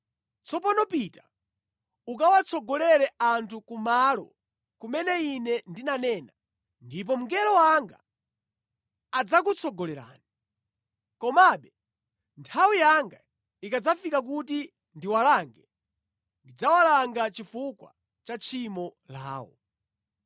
Tsopano pita ukawatsogolere anthu kumalo kumene ine ndinanena, ndipo mngelo wanga adzakutsogolerani. Komabe, nthawi yanga ikadzafika kuti ndiwalange, ndidzawalanga chifukwa cha tchimo lawo.”